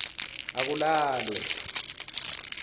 akulalwe